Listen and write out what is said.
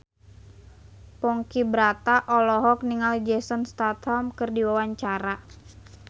Ponky Brata olohok ningali Jason Statham keur diwawancara